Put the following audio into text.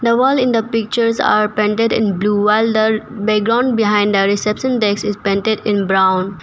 The wall in the pictures are painted in blue the wall background behind the reception that is painted in brown.